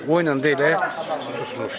O elə susmuşdu.